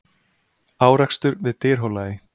Árekstur við Dyrhólaey